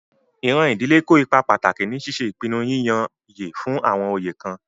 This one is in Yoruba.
Iran idile kó ipá pataki ni ṣiṣe ipinnu yiyanyẹ fun awọn oyé kan.